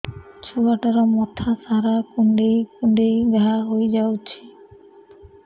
ଛୁଆଟାର ମଥା ସାରା କୁଂଡେଇ କୁଂଡେଇ ଘାଆ ହୋଇ ଯାଇଛି